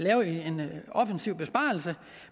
offentlig besparelse